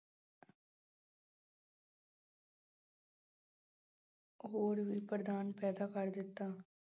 ਹੋਰ ਵੀ ਵਰਦਾਨ ਪੈਦਾ ਕਰ ਦਿੱਤਾ।